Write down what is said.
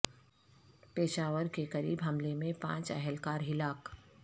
پشاور کے قریب حملے میں پانچ اہل کار ہلاک